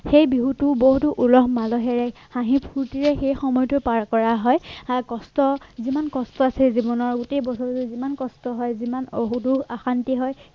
সেই বিহুটো বহুতো উলহ মালহেৰে হাঁহি ফূৰ্ত্তিৰে সেই সময়তো পাৰ কৰা হয় হা কষ্ট যিমান কষ্ট আছে জীৱনৰ গোটেই বছৰটো যিমান কষ্ট হয় যিমান সৰু সৰু অশান্তি হয়